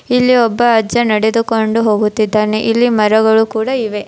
ಇಲ್ಲಿ ಒಬ್ಬ ಅಜ್ಜ ನಡೆದುಕೊಂಡು ಹೋಗುತ್ತಿದ್ದಾನೆ ಇಲ್ಲಿ ಮರಗಳು ಕೂಡ ಇವೆ.